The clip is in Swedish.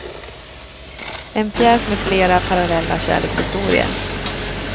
En pjäs med flera parallella kärlekshistorier.